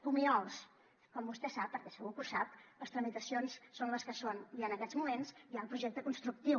comiols com vostè sap perquè segur que ho sap les tramitacions són les que són i en aquests moments hi ha el projecte constructiu